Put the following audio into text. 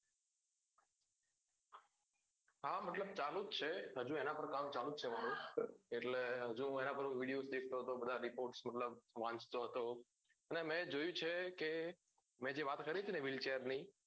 હા મતલબ ચાલુ જ છે હજુ એના પાર કામ ચાલુ જ છે મારુ એટલે હજુ હું એના પર વિડિઓ શીખતો હતો બધા reports મતલબ વાંચતો હતો અને મેં જોયું છે કે મેં જે વાત કરી તી ને wheel chair ની